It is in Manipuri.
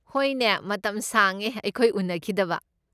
ꯍꯣꯏꯅꯦ, ꯃꯇꯝ ꯁꯥꯡꯉꯦ ꯑꯩꯈꯣꯏ ꯎꯅꯈꯤꯗꯕ꯫